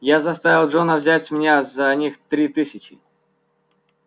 я заставил джона взять с меня за них три тысячи